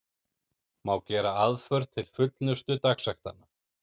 Má gera aðför til fullnustu dagsektanna.